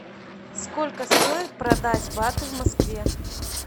сколько стоит продать баты в москве